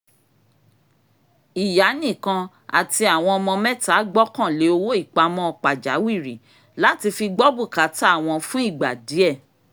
" ìyá nìkan àti àwọn ọmọ mẹ́ta gbọ́kànlé owó ipamọ́ pàjáwìrì láti fi gbọ́ búkátà wọn fún ìgbà díẹ̀"